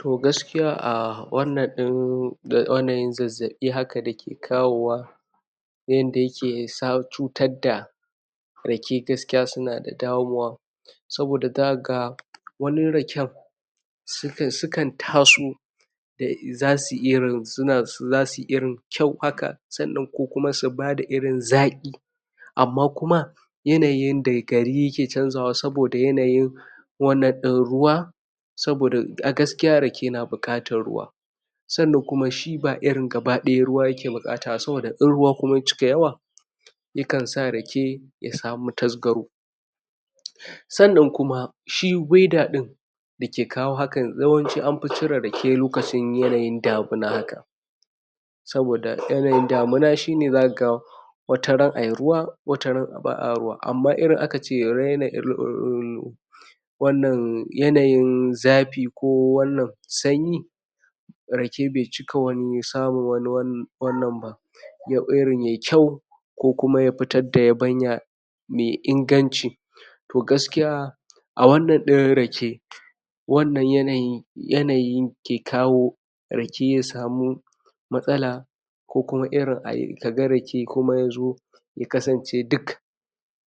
To gaskiya a wannan ɗin yanayi zazaɓi haka da yake kawo wa na yadda yake sa cutar da rake gaskiya suna da damuwa saboda zaka ga wani raken sukan sukan taso za su irin suna za su kyau haka sannan ko kuma su bada irin zaƙi amma kuma yanayain da gari yake canja wa saboda yanayin wannan ɗin ruwa saboda a gaskiya rake yana buƙatar ruwa sannan kuma shi ba irin gaba ɗaya ruwa yake buƙata ba saboda in ruwa kuma ya cika yawa yakansa rake ya samu tasgaro sannan kuma shi (weather)ɗin dake kawo haka yawanci an fi cire rake lokacin yanayin damina haka saboda yanayin da muna shi ne zaka ga wata ran a yi ruwa wata ran ba a ruwa amma idan aka ce raina irin ruwan wannan yanayin zafi ko wannan sanyi rake bai cika wani samun wani wannan ba yau irin yai kyau ko kuma ya fitar da yabanya mai inganci to gaskiya a wannan ɗin rake wannan yanayi yanayi ke kawo rake ya samu matsala ko kuma irin a yi ka ga rake kuma ya zo ya kasance duk